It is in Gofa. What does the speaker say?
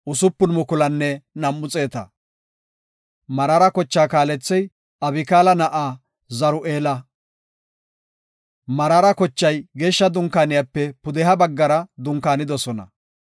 Meraara kochaa kaalethey Abikaala na7aa Zur7eela. Meraara kochay Geeshsha Dunkaaniyape pudeha baggara dunkaanidosona.